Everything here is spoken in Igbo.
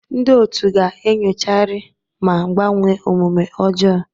Ndị otu ga-enyochagharị ma gbanwee omume ọjọọ.